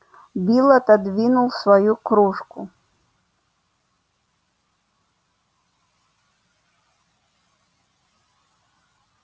билл отодвинул свою кружку